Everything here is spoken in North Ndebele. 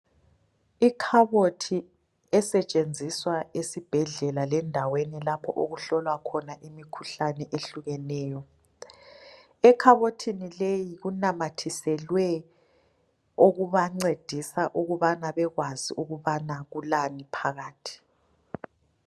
Ikhabothi esetshenziswa esibhedlela lendaweni lapho okuhlolwa khona imikhuhlane ehlukeneyo. ekhabothini leyi kunamathiselwe okubancedisa ukubana bekwazi ukubana kulani phakathi.